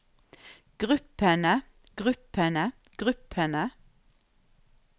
gruppene gruppene gruppene